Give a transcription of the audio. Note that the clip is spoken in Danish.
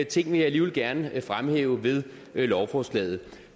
ting vil jeg alligevel gerne fremhæve ved lovforslaget